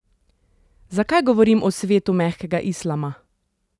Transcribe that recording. Zakaj govorim o svetu mehkega islama?